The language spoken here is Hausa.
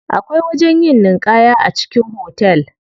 Akwai wajen yin ninƙaya a cikin hotel.